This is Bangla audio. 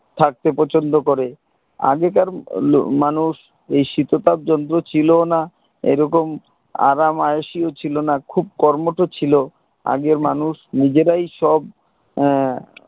থাকতে পছন্দ করে আগেকার লোক মানুষ এই শীততাপ যন্ত্র ছিল না এরকম আরাম আওসি ছিল না খুব কর্মঠ ছিল আগের মানুষ নিজেরাই সব আহ